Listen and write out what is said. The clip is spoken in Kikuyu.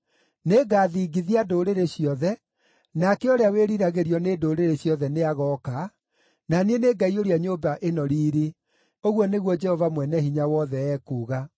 Nĩngathingithia ndũrĩrĩ ciothe, nake ũrĩa wĩriragĩrio nĩ ndũrĩrĩ ciothe nĩagooka, na niĩ nĩngaiyũria nyũmba ĩno riiri,’ ũguo nĩguo Jehova Mwene-Hinya-Wothe ekuuga.